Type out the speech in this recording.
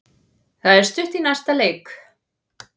Það er stutt í næsta leik.